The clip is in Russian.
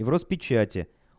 и в роспечати